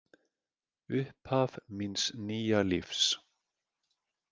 Upphaf míns nýja lífs.